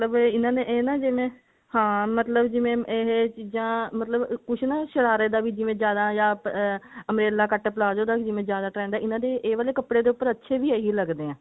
ਫਿਰ ਇਹਨਾਂ ਨੇ ਇਹ ਨਾ ਜਿਵੇਂ ਹਾਂ ਮਤਲਬ ਜਿਵੇਂ ਇਹ ਚੀਜਾ ਮਤਲਬ ਕੁੱਛ ਨਾ ਸ਼ਰਾਰੇ ਦਾ ਵੀ ਜਿਵੇਂ ਜਿਆਦਾ ਜਾ umbrella cut palazzo ਦਾ ਜਿਵੇਂ ਜਿਆਦਾ trend ਹੈ ਇਹਨਾਂ ਦੇ ਇਹ ਵਾਲੇ ਕੱਪੜੇ ਦੇ ਉੱਪਰ ਅੱਛੇ ਵੀ ਇਹੀ ਲਗਦੇ ਐ